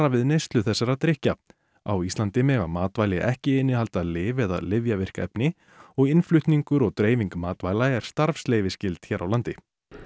við neyslu þessara drykkja á Íslandi mega matvæli ekki innihalda lyf eða lyfjavirk efni og innflutningur og dreifing matvæla er starfsleyfisskyld hér á landi